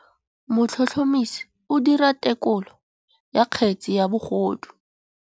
Motlhotlhomisi o dira têkolô ya kgetse ya bogodu.